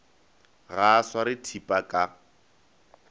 ga a sware thipa ka